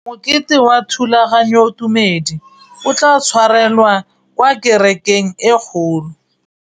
Mokete wa thulaganyôtumêdi o tla tshwarelwa kwa kerekeng e kgolo.